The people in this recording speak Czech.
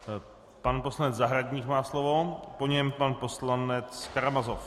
Pan poslanec Zahradník má slovo, po něm pan poslanec Karamazov.